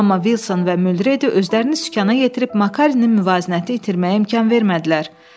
Amma Vilson və Mülredi özlərini sükanə yetirib Makarinin müvazinəti itirməyə imkan vermədilər.